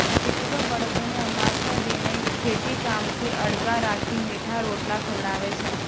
ખેડૂતો બળદોને અમાસના દિને ખેતીકામથી અળગા રાખી મીઠા રોટલા ખવડાવે છે